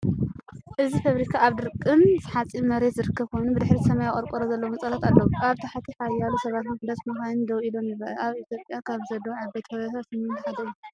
እዚ ፋብሪካ ኣብ ደረቕን ሑጻን መሬት ዝርከብ ኮይኑ፡ ብድሕሪት ሰማያዊ ቆርቆሮ ዘለዎም ህንጻታት ኣለዉዎ። ኣብ ታሕቲ ሓያሎ ሰባትን ውሑዳት መካይንን ደው ኢሎም ይረኣዩ፡ ኣብ ኢትዮጵያ ካብ ዘለዉ ዓበይቲ ፋብሪካታት ሲሚንቶ ሓደ ድዩ?